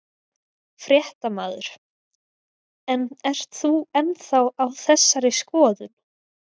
Fréttamaður: En ert þú ennþá á þessari skoðun?